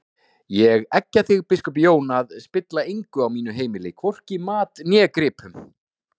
Ég eggja þig biskup Jón að spilla engu á mínu heimili, hvorki mat né gripum!